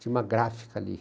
Tinha uma gráfica ali.